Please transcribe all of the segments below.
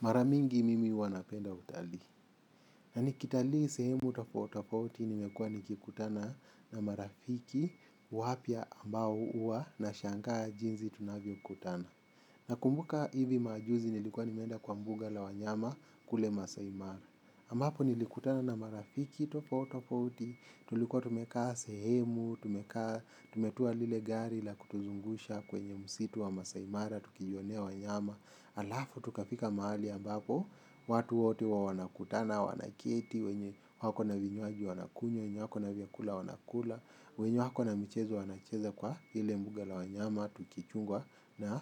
Mara mingi mimi huwa napenda utalii. Na nikitalii sehemu tofauti tofauti nimekuwa nikikutana na marafiki wapya ambao huwa nashangaa jinsi tunavyo kutana. Na kumbuka hivi majuzi nilikuwa nimeenda kwa mbuga la wanyama kule maasai mara. Ambapo nilikutana na marafiki tofauti tofauti tulikuwa tumekaa sehemu, tumekaa tumetoa lile gari la kutuzungusha kwenye msitu wa maasai mara, tukijionea wanyama. Alafu, tukapika mahali ambapo, watu wote huwa wanakutana, wanaketi, wako na vinywaji, wanakunywa, wenye wako na vyakula, wanakula. Wenye wako na michezo, wanacheza kwa ile mbuga la wanyama, tukichungwa na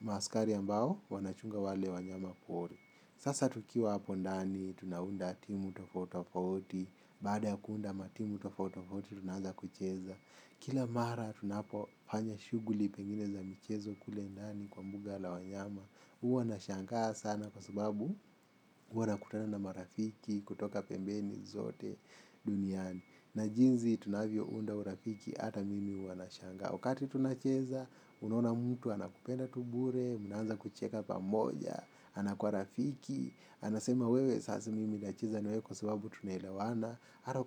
maaskari ambao, wanachunga wale wanyama pori. Sasa tukiwa hapo ndani, tunaunda timu tofauti tofauti, baada ya kuunda matimu tofauti tofauti, tunaanza kucheza. Kila mara tunapo fanya shughuli pengine za michezo kule ndani kwa mbuga la wanyama huwa na shangaa sana kwa sababu huwa nakutana na marafiki kutoka pembeni zote duniani. Na jinsi tunavyo unda urafiki hata mimi huwa na shangaa. Wakati tunacheza unaona mtu anakupenda tu bure, mnaanza kucheka pamoja. Anakuwa rafiki, anasema wewe sasa mimi nacheza na wewe kwa sababu tunaelewana hata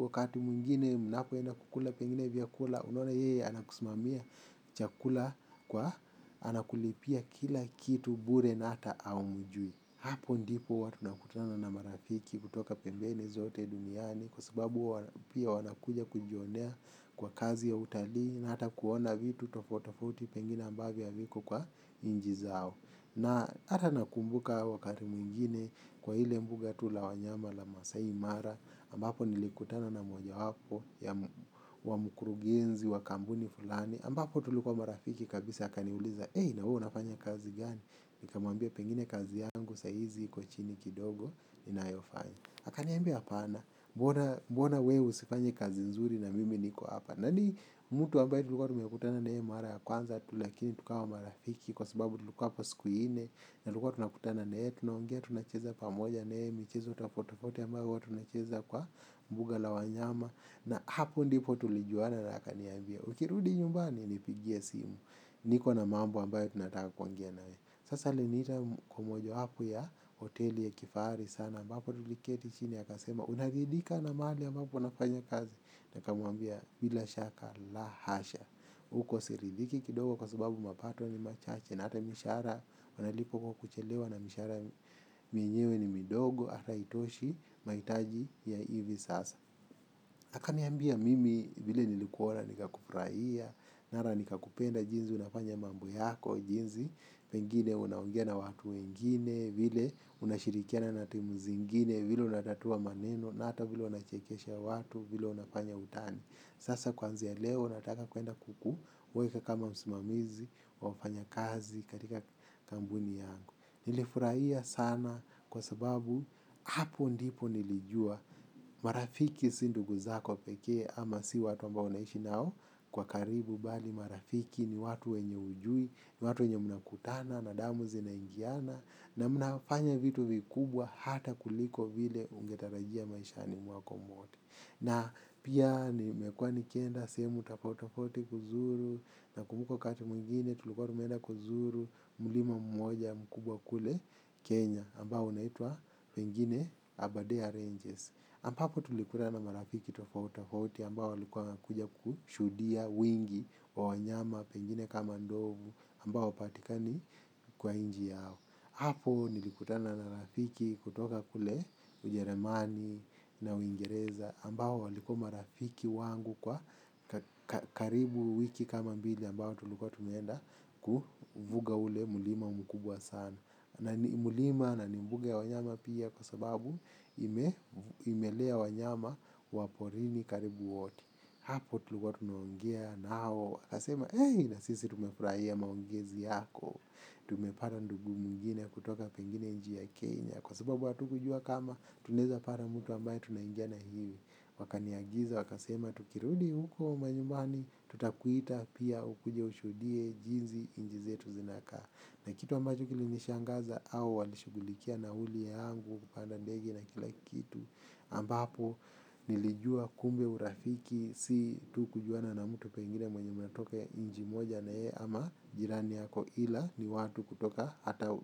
wakati mwingine mnapoenda kukula pengine vyakula. Unaona yeye anakusimamia chakula kwa anakulipia kila kitu bure na hata haumjui. Hapo ndipo huwa tunakutana na marafiki kutoka pembeni zote duniani. Kwa sababu pia wanakuja kujionea kwa kazi ya utalii. Na hata kuona vitu tofauti tofauti pengine ambavyo haviko kwa nchi zao. Na hata nakumbuka wakati mwingine kwa ile mbuga tu la wanyama la maasai mara ambapo nilikutana na moja wapo ya wa mkurugenzi wa kampuni fulani ambapo tulikuwa marafiki kabisa akaniuliza eei na wewe unafanya kazi gani nika mwambia pengine kazi yangu saizi iko chini kidogo inayofanya aka niambia hapana mbona wewe usifanye kazi nzuri na mimi niko hapa nani mtu ambaye tuliluwa tumekutana na yeye mara ya kwanza tu lakini tukawa marafiki kwa sababu tulikuwa hapa siku nne na tulikuwa tunakutana na yeye tunaongea tunacheza pamoja naye michezo tofauti tofauti ambao huwa tunacheza kwa mbuga la wanyama. Na hapo ndipo tulijuana na akaniambia ukirudi nyumbani nipigie simu. Niko na mambo ambayo tunataka kuongea naye. Sasa aliniita kwa moja hapo ya hoteli ya kifaari sana ambapo tuliketi chini akasema unaridhika na mahali ambapo nafanya kazi nikamwambia bila shaka la hasha. Uko siridhiki kidogo kwa sababu mapato ni machache. Na hata mishahara wanalipa kwa kuchelewa na mishahara. Menyewe ni midogo hata haitoshi mahitaji ya hivi sasa akaniambia mimi vile nilikuona nika kufurahia mara nika kupenda jinsi unafanya mambo yako jinsi pengine unaongea na watu wengine vile unashirikiana na timu zingine vile unatatua maneno na hata vile unachekesha watu vile unafanya utani. Sasa kwanzia leo nataka kwenda kuweka kama msimamizi wafanyakazi katika kampuni yangu. Nilifurahia sana kwa sababu hapo ndipo nilijua marafiki si ndugu zako pekee ama si watu ambao unaishi nao kwa karibu bali marafiki ni watu wenye hujui ni watu wenye mnakutana na damu zina ingiana na mnafanya vitu vikubwa hata kuliko vile ungetarajia maishani mwako mwote na pia nimekuwa nikienda sehemu tofauti tofauti kuzuru na kumbuka wakati mwingine tulikuwa tumeenda kuzuru mlima mmoja mkubwa kule kenya ambao unaitwa pengine aberdare ranges ambapo tulikutana na marafiki tofauta tofauti ambao walikuwa wanakuja kushuhudia wingi wa wanyama pengine kama ndovu ambao patikani kwa nchi yao. Hapo nilikutana na marafiki kutoka kule ujeremani na uingereza ambao walikuwa marafiki wangu kwa karibu wiki kama mbili ambao tulikuwa tumeenda kuvuga ule mlima mkubwa sana. Na ni mlima na ni mbuga ya wanyama pia kwa sababu imelea wanyama wa porini karibu wote. Hapo tulikuwa tumeongea nao wakasema eei na sisi tumefurahia maongezi yako. Tumepata ndugu mwingine kutoka pengine nchi ya Kenya. Kwa sababu hatukujua kama tunaeza pata mtu ambaye tunaingiana hivi. Wakaniagiza wakasema tukirudi huko majumbani tutakuita pia ukuje ushuhudie jinsi nchi zetu zinakaa. Na kitu ambacho kilinishangaza hao walishughulikia nauli yangu kupanda ndege na kila kitu ambapo nilijua kumbe urafiki si tu kujuana na mtu pengine mwenye mnatoka nchi moja na yeye ama jirani yako ila ni watu kutoka hata u.